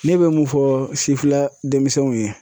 Ne be mun fɔ sifinna denmisɛnninw ye.